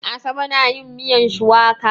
Asabe na yin miyan shuwaka.